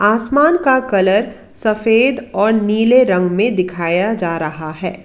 आसमान का कलर सफेद और नीले रंग में दिखाया जा रहा है।